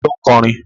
Ta ló ń kọrin?